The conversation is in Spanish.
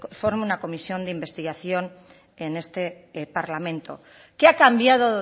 forme una comisión de investigación en este parlamento qué ha cambiado